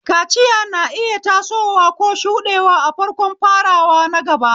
Kaciya na iya tasowa ko shuɗewa a farkon farawa na gaba.